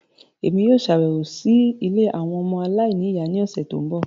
Émi yóò ṣabẹwo si ìlé awọn ọmọ aláìniya ni ọsẹ ti nbọ